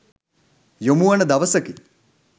යොමුවන දවසකි.